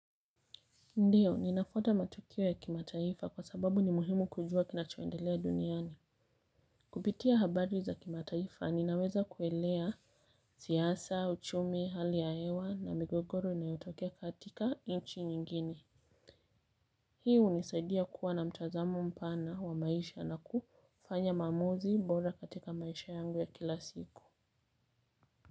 Ndiyo, ninafuata matukio ya kimataifa kwa sababu ni muhimu kujua kinachoendelea duniani. Kupitia habari za kimataifa, ninaweza kuelewa siasa, uchumi, hali ya hewa na migogoro inayotokea katika nchi nyingine. Hii hunisaidia kuwa na mtazamo mpana wa maisha na kufanya maamuzi bora katika maisha yangu ya kila siku.